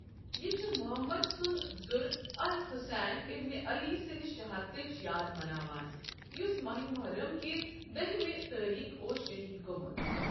یہِ چھُ مُحمد سُنٛد زُر الحسین ابن علی سٕنٛدِ شہادتٕچ یاد مناوان، یُس ماہ محرم کِہ دٔہِمِہ تٲریخ اوس شہید گومُت۔